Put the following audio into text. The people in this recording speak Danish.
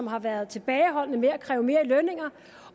har været tilbageholdende med at kræve mere i løn